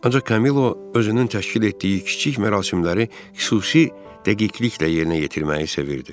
Ancaq Kamilo özünün təşkil etdiyi kiçik mərasimləri xüsusi dəqiqliklə yerinə yetirməyi sevirdi.